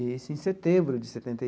Isso em setembro de setenta e.